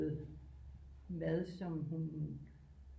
Mad som hun